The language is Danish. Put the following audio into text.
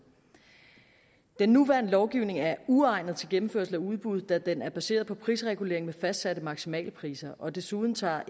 den nuværende lovgivning er uegnet til gennemførelse af udbud da den er baseret på prisregulering med fastsatte maksimale priser og desuden tager